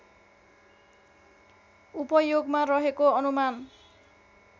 उपयोगमा रहेको अनुमान